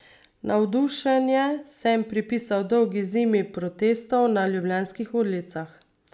Navdušenje sem pripisal dolgi zimi protestov na ljubljanskih ulicah.